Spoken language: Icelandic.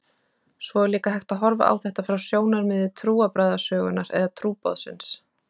Svo er líka hægt að horfa á þetta frá sjónarmiði trúarbragðasögunnar eða trúboðsins.